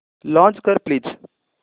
launch कर please